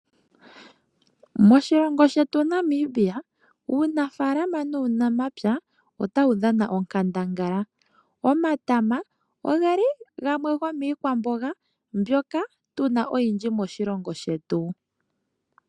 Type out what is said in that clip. Moshilongo shetu Namibia uunafaalama nuunamapya otawu dhana onkandangala. Omatama ogeli gamwe gomiikwamboga mbyoka tuna oyindji moshilongo shetu.